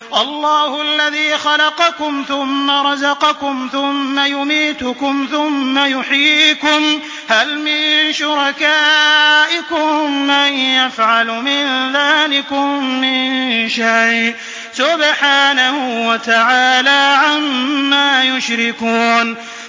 اللَّهُ الَّذِي خَلَقَكُمْ ثُمَّ رَزَقَكُمْ ثُمَّ يُمِيتُكُمْ ثُمَّ يُحْيِيكُمْ ۖ هَلْ مِن شُرَكَائِكُم مَّن يَفْعَلُ مِن ذَٰلِكُم مِّن شَيْءٍ ۚ سُبْحَانَهُ وَتَعَالَىٰ عَمَّا يُشْرِكُونَ